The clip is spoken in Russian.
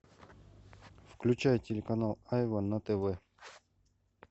включай телеканал айва на тв